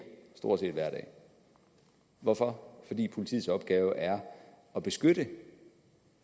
stort set hver dag hvorfor fordi politiets opgave er at beskytte